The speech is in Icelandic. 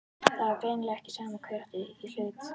Það var greinilega ekki sama hver átti í hlut.